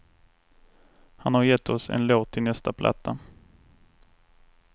Han har gett oss en låt till nästa platta.